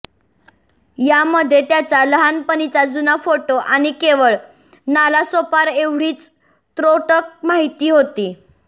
यामध्ये त्याचा लहानपणीचा जुना फोटो आणि केवळ नालासोपारा एवढीच त्रोटक माहिती होती